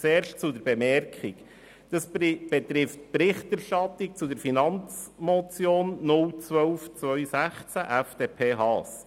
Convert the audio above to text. Vorerst zur Bemerkung: Sie betrifft die Berichterstattung zur Finanzmotion 012-2016 FDP/Haas.